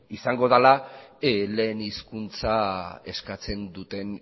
izango dela lehen hizkuntza eskatzen duten